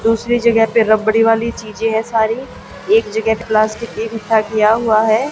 दूसरी जगह पर रबड़ी वाली चीज है सारी एक जगह प्लास्टिक एक इकठ्ठा किया हुआ है।